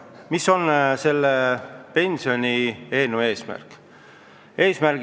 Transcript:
Mis on selle pensionieelnõu eesmärk?